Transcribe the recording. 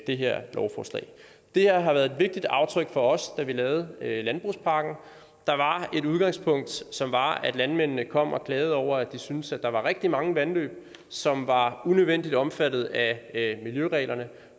det her lovforslag det her har været et vigtigt aftryk for os da vi lavede landbrugspakken der var et udgangspunkt som var at landmændene kom og klagede over at de syntes at der var rigtig mange vandløb som var unødvendigt omfattet af miljøreglerne